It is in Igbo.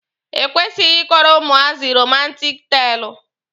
E kwesịghị ịkọrọ ụmụazị romantik teelụ.